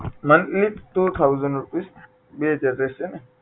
month એ two thousand rupees બે હજાર રહેશે ને